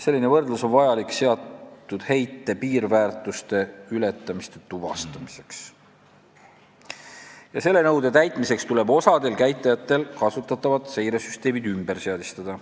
Selline võrdlus on vajalik seatud heite piirväärtuste ületamiste tuvastamiseks ja nõude täitmiseks tuleb osal käitajatel kasutatavad seiresüsteemid ümber seadistada.